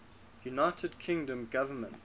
united kingdom government